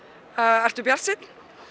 ertu bjartsýnn